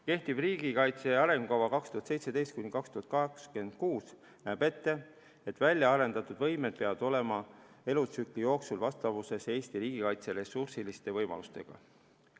Kehtiv riigikaitse arengukava 2017–2026 näeb ette, et välja arendatud võimed peavad olema elutsükli jooksul vastavuses Eesti riigikaitse ressursilise võimalustega.